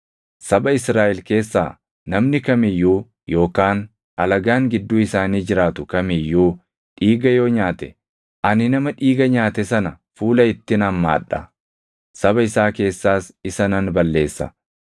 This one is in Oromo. “ ‘Saba Israaʼel keessaa namni kam iyyuu yookaan alagaan gidduu isaanii jiraatu kam iyyuu dhiiga yoo nyaate, ani nama dhiiga nyaate sana fuula ittin hammaa dha; saba isaa keessaas isa nan balleessa.